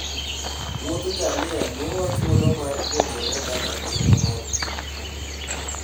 Wiodh ngamia miyowa thuolo mar puonjore kaka ngima mar thim chalo.